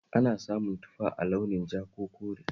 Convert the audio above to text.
Ana samun tufa a launin ja ko kore